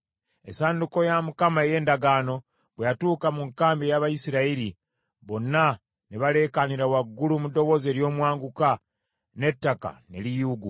Essanduuko ya Mukama ey’endagaano bwe yatuuka mu nkambi ey’Abayisirayiri, bonna ne baleekaanira waggulu mu ddoboozi ery’omwanguka, n’ettaka ne liyuuguuma.